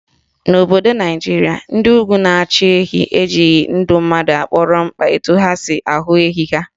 N'obodo Naijiria, ndị Ugwu na-achụ ehi ejighị ndụ mmadụ kpọrọ mkpa etu ha si ahụ ehi ha